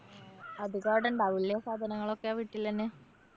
അതികവടെ ഉണ്ടാവുല്ലേ? സാധനങ്ങളൊക്കെ. വീട്ടിലന്നെ.